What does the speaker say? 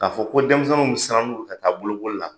K'a fɔ ko denmisɛnw bi siran ka taa bolokoli la